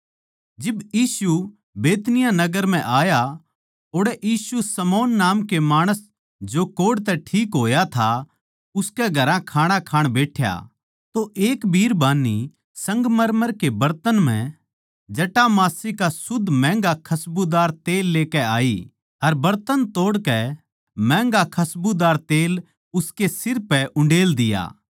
जिब यीशु बैतनिय्याह नगर म्ह आया ओड़ै यीशु शमौन नाम के माणस जो कोढ़ तै ठीक होया था उसके घरां खाणा खाण बैठ्या तो एक बिरबान्नी संगमरमर कै बरतन म्ह जटामांसी का शुद्ध महँगा खसबूदार तेल लेकै आई अर बरतन तोड़कै महँगा खसबूदार तेल ताहीं उसकै सिर पै उंडेल दिया